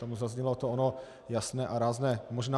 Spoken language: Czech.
Tam zaznělo to ono jasné a rázné možná.